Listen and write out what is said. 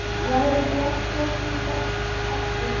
Lagði sig jafnskjótt út af aftur.